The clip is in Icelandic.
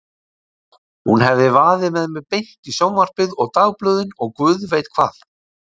Hún hefði vaðið með mig beint í sjónvarpið og dagblöðin og guð veit hvað.